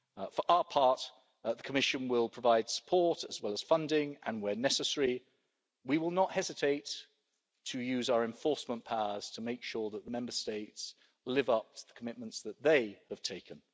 For our part, the Commission will provide support as well as funding and, where necessary, we will not hesitate to use our enforcement powers to make sure that the Member States live up to the commitments that they have taken.